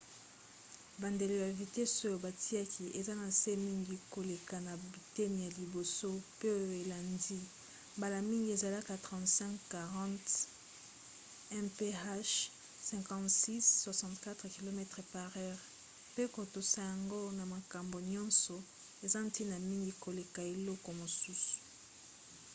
bandelo ya vitese oyo batiaka eza na se mingi koleka na biteni ya liboso pe oyo elandi — mbala mingi ezalaka 35-40 mph 56-64 km/h — mpe kotosa yango na makambo nyonso eza ntina mingi koleka eloko mosusu